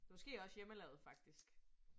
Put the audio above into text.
Måske også hjemmelavet faktisk